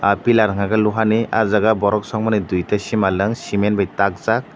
pilar hingke lohani ah jaga borok sogmani dui ta simalong cement bai takjak.